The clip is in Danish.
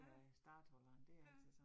Ja. Ja